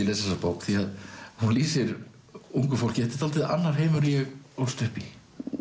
les þessa bók því að hún lýsir ungu fólki þetta er dálítið annar heimur en ég ólst upp í